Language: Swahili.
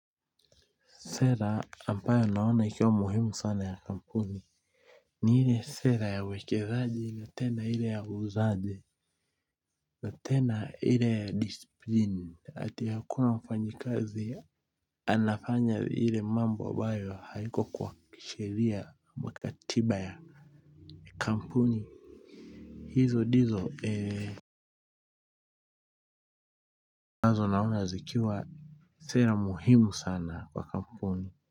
Sera ambayo naona ikiwa muhimu sana ya kampuni ni ile sera ya uwekezaji na tena ile ya uuzaji na tena ile ya disiplini ati hakuna mfanyikazi anafanya ile mambo ambayo haiko kwa kisheria makatiba ya kampuni hizo ndizo nazo naona zikiwa sera muhimu sana kwa kampuni.